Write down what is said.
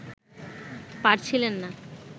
পারছিলেন না